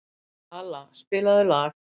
Kala, spilaðu lag.